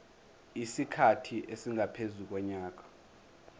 isikhathi esingaphezu konyaka